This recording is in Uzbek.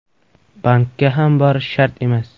Bankka ham borish shart emas.